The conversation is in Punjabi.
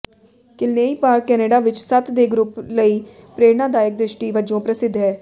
ਕਿਲਨੇਇ ਪਾਰਕ ਕਨੇਡਾ ਵਿਚ ਸੱਤ ਦੇ ਗਰੁੱਪ ਲਈ ਪ੍ਰੇਰਣਾਦਾਇਕ ਦ੍ਰਿਸ਼ਟੀ ਵਜੋਂ ਪ੍ਰਸਿੱਧ ਹੈ